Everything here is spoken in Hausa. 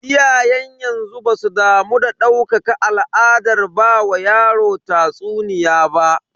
Iyayen yanzu basu damu da ɗaukaka al'adar ba wa yaro tatsuniya ba.